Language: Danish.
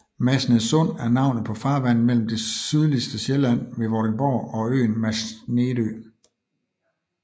Masnedsund er navnet på farvandet mellem det sydligste Sjælland ved Vordingborg og øen Masnedø